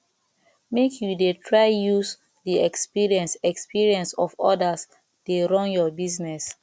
make you dey try use di experience experience of odas dey run your business